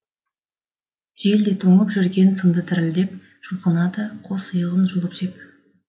жел де тоңып жүрген сынды дірілдеп жұлқынады қос иығын жұлып жеп